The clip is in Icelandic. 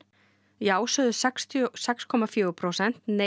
já sögðu sextíu og sex komma fjögur prósent nei